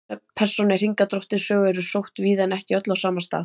Nöfn persóna í Hringadróttinssögu eru sótt víða en ekki öll á sama stað.